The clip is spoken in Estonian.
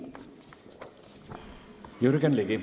Jürgen Ligi.